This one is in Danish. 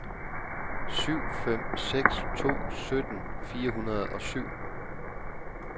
syv fem seks to sytten fire hundrede og syv